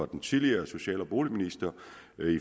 den tidligere socialminister